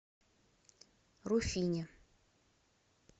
руфине